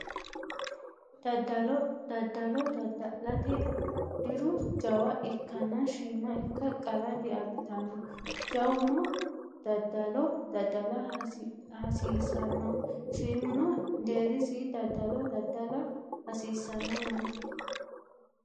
Daddalo daddalo daddalate diru jawa ikkanna shiima ikka qarra diabbitanno jawuno daddalo daddala hasiissanno shiimuno deerrisi daddalo daddala hasiissanno yaate